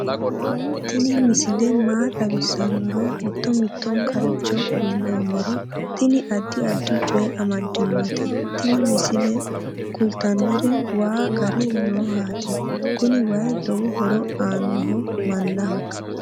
tini misile maa xawissannoro mito mittonkaricho kulummoro tini addi addicoy amaddinote tini misileno kultannori waa gare noohati kuni way lowo horo aannoho mannaho